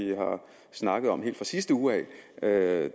snakkede om helt fra sidste uge af da